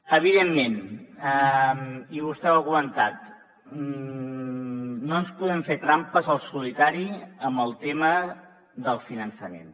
evidentment i vostè ho ha comentat no ens podem fer trampes al solitari amb el tema del finançament